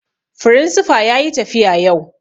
Firinsifa yayi tafiya yau